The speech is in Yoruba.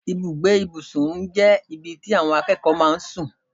Ibùgbé ìbùsùn jẹ́ ibi tí àwọn akẹ́kọ̀ọ́ máa ń sùn.